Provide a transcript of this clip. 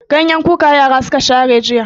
Ganyen kuka yara suka share jiya.